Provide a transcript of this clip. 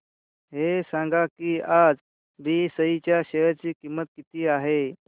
हे सांगा की आज बीएसई च्या शेअर ची किंमत किती आहे